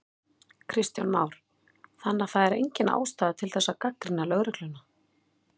Kristján Már: Þannig að það er engin ástæða til þess að gagnrýna lögregluna?